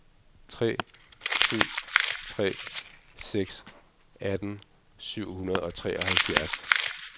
tre syv tre seks atten syv hundrede og treoghalvfjerds